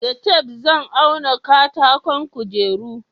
da tef zan auna katakon kujeru